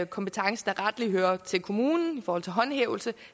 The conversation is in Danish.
kompetence der rettelig hører til kommunen i forhold til håndhævelse